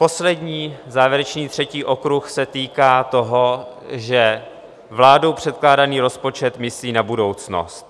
Poslední, závěrečný, třetí okruh se týká toho, že vládou předkládaný rozpočet myslí na budoucnost.